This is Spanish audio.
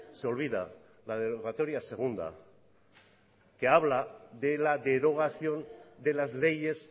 se olvida la derogatoria segunda que habla de la derogación de las leyes